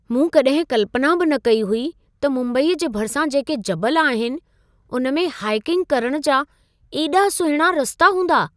मूं कॾहिं कल्पना बि न कई हुई त मुम्बई जे भरिसां जेके जबल आहिनि , उन में हाइकिंग करण जा एॾा सुहिणा रस्ता हूंदा!